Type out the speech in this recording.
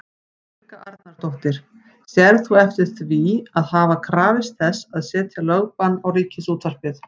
Helga Arnardóttir: Sérð þú eftir því að hafa krafist þess að setja lögbann á Ríkisútvarpið?